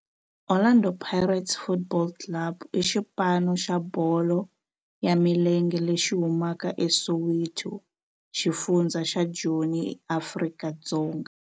Orlando Pirates Football Club i xipano xa bolo ya milenge lexi humaka eSoweto, xifundzha xa Joni, Afrika-Dzonga.